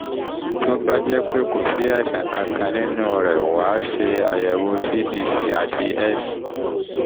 tó bá jẹ́ pé kò sí àìsàn kankan kankan nínú rẹ̀ wá ṣe àyẹ̀wò cbc àti s